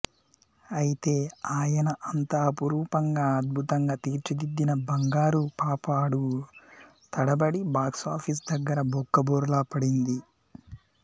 ఐతే ఆయన అంత అపురూపంగా అద్భుతంగా తీర్చిదిద్దిన బంగారుపాప అడుగు తడబడి బాక్సాఫీస్ దగ్గర బొక్కబోర్లా పడింది